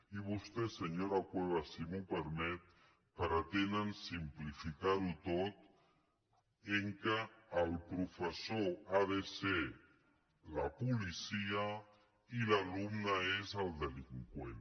i vostès senyora cuevas si m’ho permet pretenen simplificar ho tot en el fet que el professor ha de ser la policia i l’alumne és el delinqüent